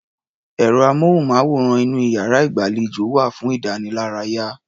Ẹ̀rọ-amóhùnmáwòrán inú iyàrá-ìgbàlejò wà fún ìdánilárayá.